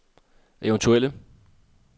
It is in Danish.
eventuelle